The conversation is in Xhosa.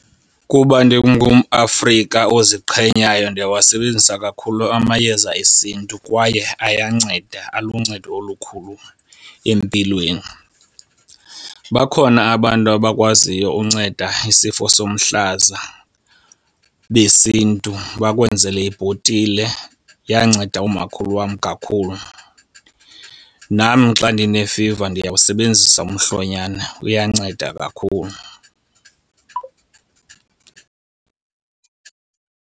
Kuba ndingumAfrika oziqhenyayo ndiyawasebenzisa kakhulu amayeza esiNtu, kwaye ayanceda aluncedo olukhulu empilweni. Bakhona abantu abakwaziyo unceda isifo somhlaza besiNtu bakwenzele ibhotile, yanceda umakhulu wam kakhulu. Nam xa ndine-fever ndiyawusebenzisa umhlonyana uyanceda kakhulu.